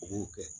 U b'o kɛ